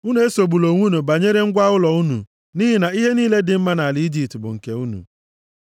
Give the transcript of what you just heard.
Unu esogbula onwe unu banyere ngwa ụlọ unu, nʼihi na ihe niile dị mma nʼala Ijipt bụ nke unu.’ ”